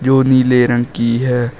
जो नीले रंग की है।